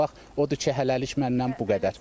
Odur ki, hələlik məndən bu qədər.